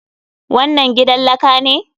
Wannan gidan laka ne?